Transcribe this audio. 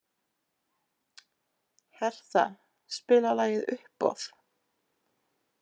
Hertha, spilaðu lagið „Uppboð“.